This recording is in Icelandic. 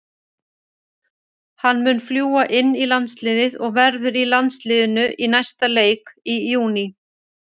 Hann mun fljúga inn í landsliðið og verður í landsliðinu í næsta leik í júní.